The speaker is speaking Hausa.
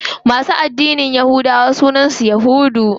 Masu addinin yahudawa sunan su yahudu.